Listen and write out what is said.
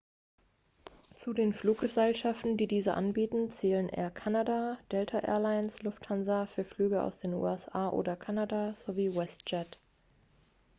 zu den fluggesellschaften die diese anbieten zählen air canada delta air lines lufthansa für flüge aus den usa oder kanada sowie westjet